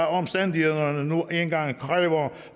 omstændighederne nu engang kræver